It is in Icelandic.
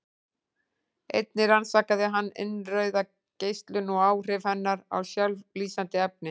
einnig rannsakaði hann innrauða geislun og áhrif hennar á sjálflýsandi efni